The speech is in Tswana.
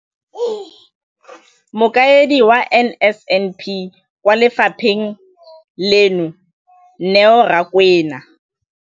Mokaedi wa NSNP kwa lefapheng leno, Neo Rakwena,